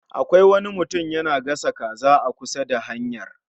Akwai wani mutum yana gasa kaza a kusa da hanyar